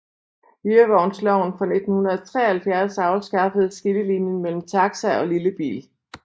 Hyrevognsloven fra 1973 afskaffede skillelinjen mellem taxa og lillebil